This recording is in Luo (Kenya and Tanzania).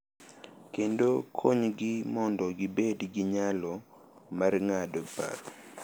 Kendo konygi mondo gibed gi nyalo mar ng’ado paro.